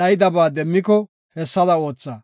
dhayidabaa demmiko, hessada ootha.